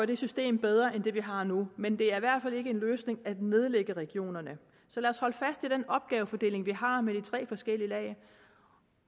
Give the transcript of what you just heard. det system bedre end det vi har nu men det er i en løsning at nedlægge regionerne så lad os holde fast i den opgavefordeling vi har med de tre forskellige lag